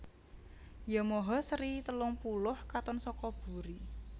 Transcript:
Yamaha seri telung puluh katon saka buri